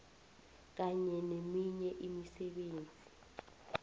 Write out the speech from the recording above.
kunye neminye imisebenzi